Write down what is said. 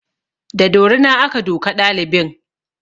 Da dorina aka duka ɗalibin